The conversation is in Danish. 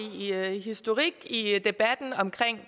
historik i debatten omkring